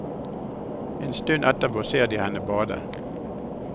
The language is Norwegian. En stund etterpå ser de henne bade.